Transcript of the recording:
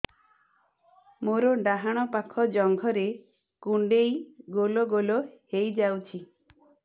ମୋର ଡାହାଣ ପାଖ ଜଙ୍ଘରେ କୁଣ୍ଡେଇ ଗୋଲ ଗୋଲ ହେଇଯାଉଛି